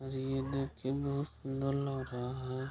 अरे ये देखी बहुत सुन्दर लग रहा है।